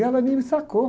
E ela nem me sacou.